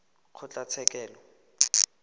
kgotlatshekelo